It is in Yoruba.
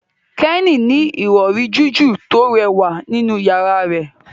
Kenny ní Ìrọ̀rí jiju to rẹwà nínú yàrá rẹ